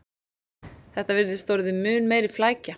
Þetta virðist orðið mun meiri flækja